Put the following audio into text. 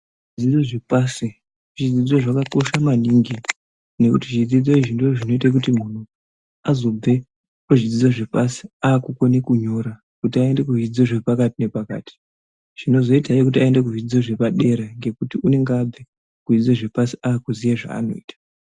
Zvidzidzo zvepashi zvidzidzo zvakakosha maningi nekuti zvidzidzo izvi ndozvinoite kuti muntu azobve kuzvidzidzo zvepasi akukone kunyora kuti aende kuzvidzidzo zvepakati nepakati zvinozoita hino kuti aende kuzvidzidzo zvepadera ngokuti unenge abve kuzvidzidzo zvepasi akuziva zvaanoita.